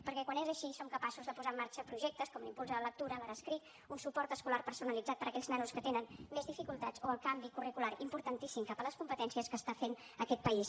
perquè quan és així som capaços de posar en marxa projectes com l’impuls a la lectura l’ ara escric un suport escolar personalitzat per a aquells nanos que tenen més dificultats o el canvi curricular importantíssim cap a les competències que està fent aquest país